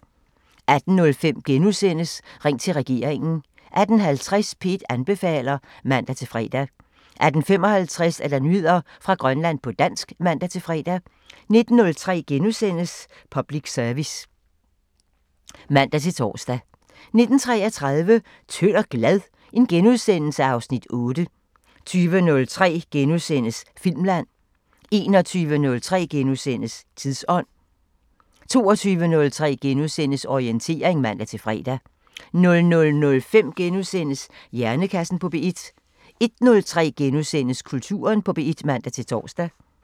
18:05: Ring til regeringen * 18:50: P1 anbefaler (man-fre) 18:55: Nyheder fra Grønland på dansk (man-fre) 19:03: Public Service *(man-tor) 19:33: Tynd og glad? (Afs. 8)* 20:03: Filmland * 21:03: Tidsånd * 22:03: Orientering *(man-fre) 00:05: Hjernekassen på P1 * 01:03: Kulturen på P1 *(man-tor)